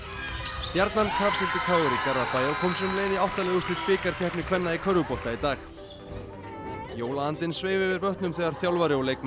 stjarnan kafsigldi k r í Garðabæ og kom sér um leið í átta liða úrslit bikarkeppni kvenna í körfubolta í dag jólaandinn sveif yfir vötnum þegar þjálfari og leikmenn